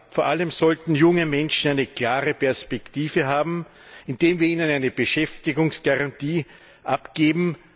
Vor allem sollten junge Menschen eine klare Perspektive haben, indem wir ihnen eine Beschäftigungsgarantie abgeben.